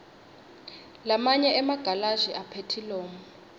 lamanye emagalashi aphethilomu